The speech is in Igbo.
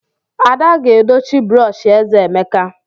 Ada ga-edochi brọsh eze Emeka.